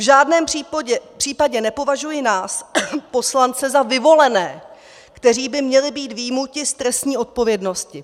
V žádném případě nepovažuji nás, poslance, za vyvolené, kteří by měli být vyjmuti z trestní odpovědnosti.